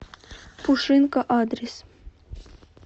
пушинка адрес